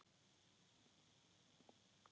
Mamma kenndi okkur að hjóla.